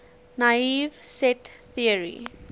naive set theory